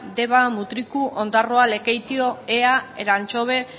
deba mutriko ondarroa lekeitio ea elantxobe